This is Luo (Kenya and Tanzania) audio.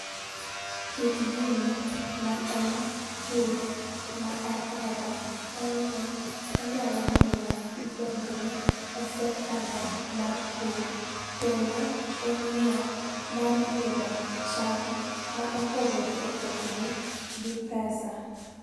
Kit gini ma en pur ma ahero en ni onyalo miyo idongri e sector no mar pur kendo en yoo mar yudo cham ma opogore opogore gi pesa